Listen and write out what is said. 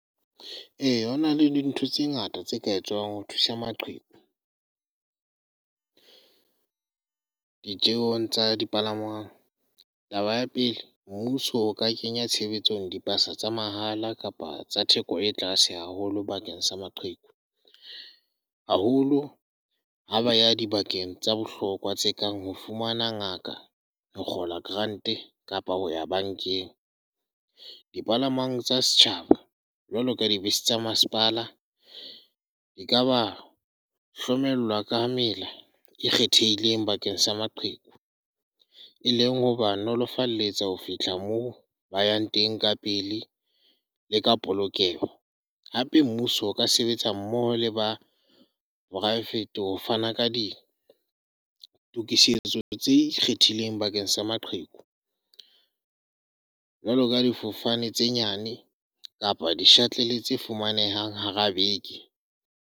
Ee, ho na le dintho tse ngata tse ka etswang ho thusa maqheku, ditjeong tsa dipalangwang. Taba ya pele, mmuso o ka kenya tshebetsong dibase tsa mahala kapa tsa theko e tlase haholo bakeng sa maqheku. Haholo ha ba ya dibakeng tsa bohlokwa tse kang ho fumana ngaka, ho kgola grant-e kapa ho ya bankeng. Dipalangwang tsa setjhaba jwalo ka dibese tsa masepala ekaba hlokomelwa ka mela e kgethehileng bakeng sa maqheku, e leng hoba nolofalletsa ho fihla moo ba yang teng ka pele le ka polokeho. Hape mmuso o ka sebetsa mmoho le ba poraevete ho fana ka ditokisetso tse ikgethileng bakeng sa maqheku, jwaloka difofane tse nyane kapa di shuttle tse fumanehang hara beke.